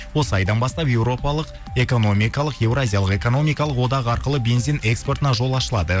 осы айдан бастап европалық экономикалық еуразиялық экономикалық одағы арқылы бензин экспортына жол ашылады